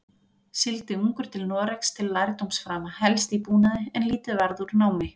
Sigldi ungur til Noregs til lærdómsframa, helst í búnaði, en lítið varð úr námi.